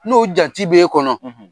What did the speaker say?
N'o jate be kɔnɔ.